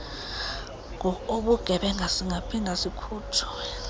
ngokobugebenga singaphinda sikhutshwe